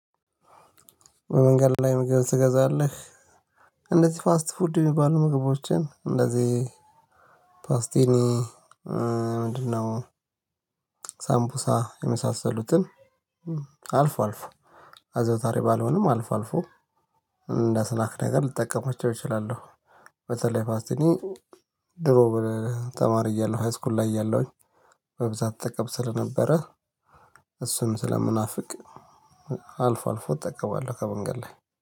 በመንገድ ላይ ምግብ ትገዛለህ? እንደዚህ ፋስት ፉድ የሚባሉ ምግቦችን እንደዚህ ፓስቲኒ ምንድነው? ሳምፑሳ የመሳሰሉትን አልፎ አልፎ አዛውታሪ ባልሆንም አልፎ አልፎ እንደ አስናክ ነገር ልጠቀማቸው እችላለሁ። በተለይ ፓስቲኒ ድሮ ተማሪ እያለሁ ሃይስኩል ላይ እያለሁኝ ስጠቀም ስለነበረ እሱም ስለምናፍቅ አልፎ አልፎ እጠቀማለሁ። ከመንገድ ላይ